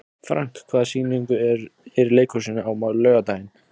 Frank, hvaða sýningar eru í leikhúsinu á laugardaginn?